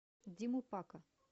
диму пака